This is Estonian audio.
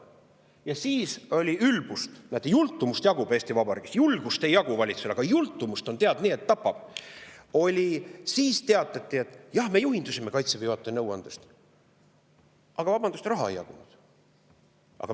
Ja siis oli ülbust – näete, jultumust jagub Eesti Vabariigis, julgust valitsusel ei jagu, aga jultumust on, tead, nii, et tapab – teatada, et jah, me juhindusime Kaitseväe juhataja nõuandest, aga vabandust, raha ei jagunud.